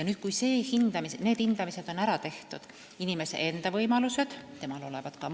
Nüüd, kui need hindamised on ära tehtud – inimese enda võimalused, tema